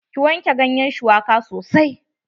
Ki wanke ganyen shuwaka sosai.